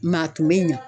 Maa tun bɛ ɲa